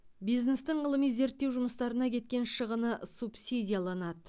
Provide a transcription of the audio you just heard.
бизнестің ғылыми зерттеу жұмыстарына кеткен шығыны субсидияланады